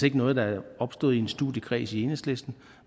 ikke noget der er opstået i en studiekreds i enhedslisten